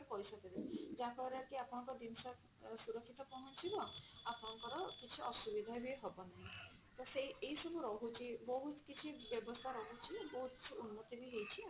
ପଇସା ଦେବେ ଯାହାଫଳ ରେ କି ଆପଣଙ୍କ ଜିନିଷ ସୁରକ୍ଷିତ ପହଞ୍ଚିବ ଆପଣଙ୍କର କିଛି ଅସୁବିଧା ବି ହବନାହିଁ ତ ଏଇ ସବୁ ରହୁଛି ବହୁତ କିଛି ବ୍ୟବସ୍ଥା ରହୁଛି ବହୁତ କିଛି ଉନ୍ନତି ବି ହେଇଛି